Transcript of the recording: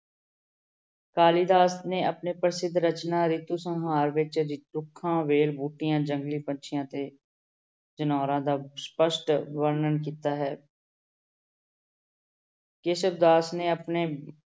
ਕਾਲੀਦਾਸ ਨੇ ਆਪਣੇ ਪ੍ਰਸਿਧ ਰਚਨਾ ਰਿਤੂ ਸੰਹਾਰ ਵਿੱਚ ਵੇਲ ਬੂਟਿਆਂ, ਜੰਗਲੀ ਪੰਛੀਆਂ ਤੇ ਜਨੋਰਾਂ ਦਾ ਸਪਸ਼ਟ ਵਰਣਨ ਕੀਤਾ ਹੈ ਕੇਸਵ ਦਾਸ ਨੇ ਆਪਣੇ